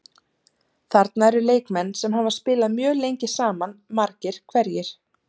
Þarna eru leikmenn sem hafa spilað mjög lengi saman margir hverjir.